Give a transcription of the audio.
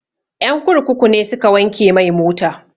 Ƴan kurkuku ne suka wanke mai mota